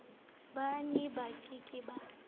ba neba ke ke ba